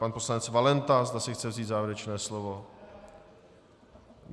Pan poslanec Valenta, zda si chce vzít závěrečné slovo.